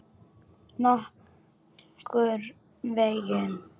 Nokkurn veginn.